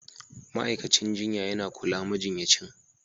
Ma'aikacin jinya yana kula majinyacin